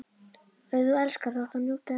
Og ef þú elskar þá áttu að njóta elskunnar.